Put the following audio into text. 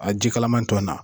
A ji kalaman tɔ na.